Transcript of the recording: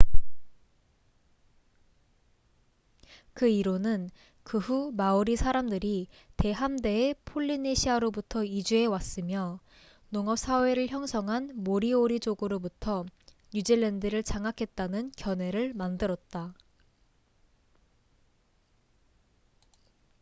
그 이론은 그 후 마우리 사람들이 대함대의 폴리네시아로부터 이주해왔으며 농업사회를 형성한 모리오리족으로부터 뉴질랜드를 장악했다는 견해를 만들었다